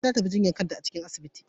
Nana ta tafi jinyar kanta a cikin asibitin.